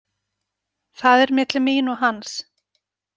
Það er milli mín og hans.